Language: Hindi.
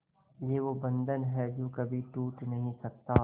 ये वो बंधन है जो कभी टूट नही सकता